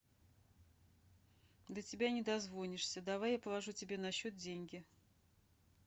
до тебя не дозвонишься давай я положу тебе на счет деньги